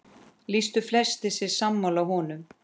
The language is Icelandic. Lýstu flestir sig sammála honum.